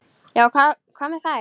Já, hvað með þær?